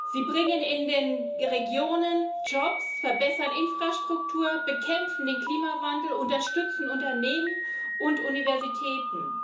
Sie bringen in den Regionen Jobs, verbessern Infrastruktur, bekämpfen den Klimawandel, unterstützen Unternehmen und Universitäten.